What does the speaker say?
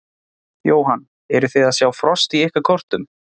Jóhann: Eruð þið að sjá frost í ykkar kortum?